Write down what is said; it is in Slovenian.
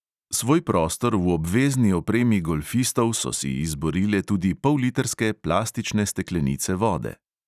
Svoj prostor v obvezni opremi golfistov so si izborile tudi pollitrske plastične steklenice vode.